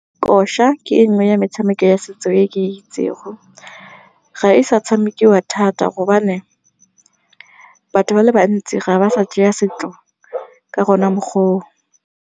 Kosha ke e nngwe ya metshameko ya setso e ke itseng, ga e sa tshamekiwa thata gobane batho ba le bantsi ga ba sa setso ka gona mokgwa o o.